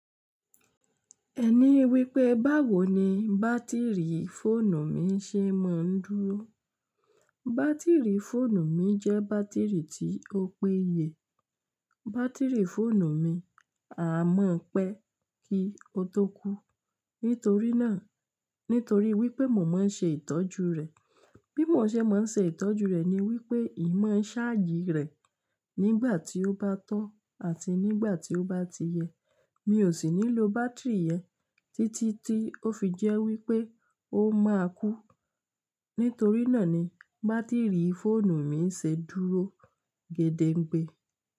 Ẹ ní wípé báwo ni bátìrì fóònù mi ṣe máa ń dúró. Bátìrì fóònù mi jẹ́ bátìrì tí ó péye. Bátìrì fóònù mi a mọ̀ pé kí ó tó kú. Nítorí náà, nítorí wípé mo máa ń ṣe ìtọ́jú rẹ̀. Bí mo ṣe máa ń ṣe ìtọ́jú rẹ̀ ni wípé ì máa ń ṣáàjì rẹ̀ nígbà tí ó bá tọ́ àti nígbà tí ó bá ti yẹ. Mi ò sì ní lo bátìrì yẹn títí tí ó fi jẹ́ wípé ó máa kú. Nítorí náà ni bátìrì fóònù mi ń ṣe dúró gédengbé.